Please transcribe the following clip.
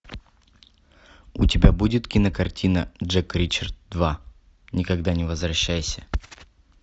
у тебя будет кинокартина джек ричард два никогда не возвращайся